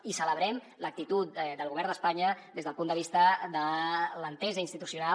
i celebrem l’actitud del govern d’espanya des del punt de vista de l’entesa institucional